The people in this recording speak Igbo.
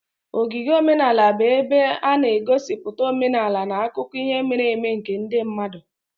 Ogige omenala bụ ebe a na-egosipụta omenala na akụkọ ihe mere eme nke ndị mmadụ.